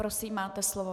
Prosím, máte slovo.